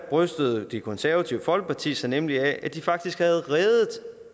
brystede det konservative folkeparti sig nemlig af at de faktisk havde reddet